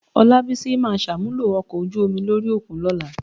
Ọlábísí máa ṣàmúlò ọkọ̀ ojú omi lórí òkun lọ́la.